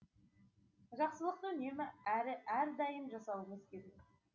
жақсылықты үнемі әрі әрдайым жасауыңыз керек